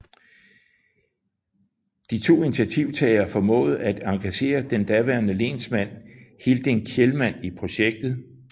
De to initiativtagere formåede at engagere den daværende lensmand Hilding Kjellman i projektet